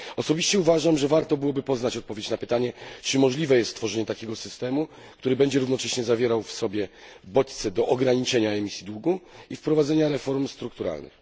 Osobiście uważam, że warto byłoby poznać odpowiedź na pytanie, czy możliwe jest stworzenie takiego systemu, który będzie równocześnie zawierał w sobie bodźce do ograniczenia emisji długu i wprowadzenia reformy strukturalnej.